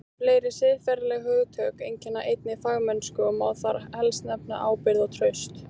Fleiri siðferðileg hugtök einkenna einnig fagmennsku og má þar helst nefna ábyrgð og traust.